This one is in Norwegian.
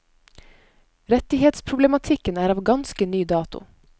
Rettighetsproblematikken er av ganske ny dato.